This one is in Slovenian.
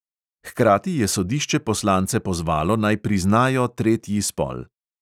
Hkrati je sodišče poslance pozvalo, naj priznajo tretji spol.